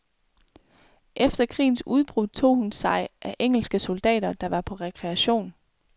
Efter krigens udbrud tog hun sig af engelske soldater, der var på rekreation.